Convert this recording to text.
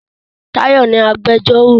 Táyọ̀ ni agbẹjọ́rò.